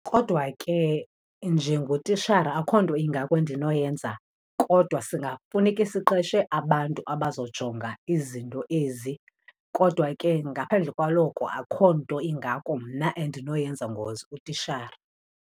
Kodwa ke njengotishara akho nto ingako endinoyenza kodwa singafuneke siqeshe abantu abazojonga izinto ezi. Kodwa ke ngaphandle kwalokho, akho nto ingako mna endinoyenza as utitshara.